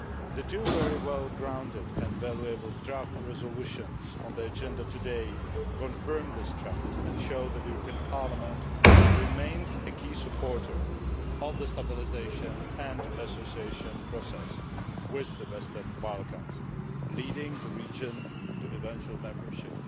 The two very well grounded and valuable draft resolutions on the agenda today confirm this trend and show that the European Parliament remains a key supporter of the stabilisation and association process with the Western Balkans, leading the region to eventual membership.